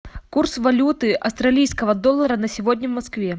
курс валюты австралийского доллара на сегодня в москве